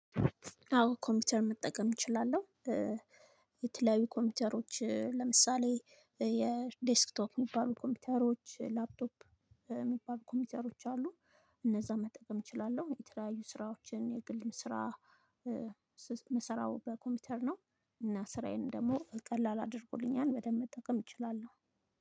አዎ ኮምፒውተር መጠቀም እችላለሁ። የተለያዩ ኮምፒውተሮችን ለምሳሌ የዴስክቶፕ የሚባሉ ኮምፒውተሮች ላፕቶፕ የሚባሉ ኮምፒውተሮች አሉ። እነዛን መጠቀም እችላለሁ የተለያዩ ስራዎችን የግል ስራ። ምስራው በኮምፒውተር ነው እና ስራዬን ደግሞ ቀላል አድርጎልኛል። በደንብ መጠቀም እችላለሁ።